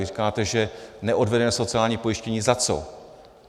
Vy říkáte, že neodvedené sociální pojištění - za co?